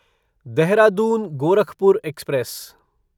Dehradun Gorakhpur express